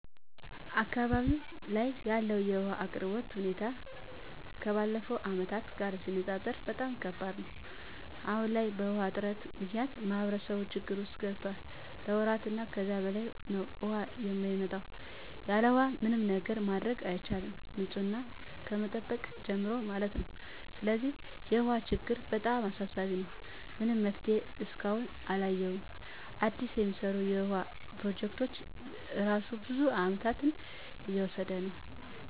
አካባቢው ላይ ያለው የውሃ አቅርቦት ሁኔታ ከባለፉት አመታት ጋር ሲነፃፀር በጣም ከባድ ነው። አሁን ላይ በውሃ እጥረት ምክንያት ማህበረሰቡ ችግር ውስጥ ገብቷል ለወራት እና ከዛ በላይ ነው ውሃ የማይመጣው። ያለውሃ ምንም ነገር ማድረግ አይቻልም ንፅህናን ከመጠበቅ ጀምሮ ማለት ነው። ስለዚህ የውሃ ችግሩ በጣም አሳሳቢ ነው። ምንም መፍትሄ እስካሁን አላየሁም አዲስ የሚሰሩ የውሃ ፕሮጀክቶች እራሱ ብዙ አመታትን እየወሰዱ ነው።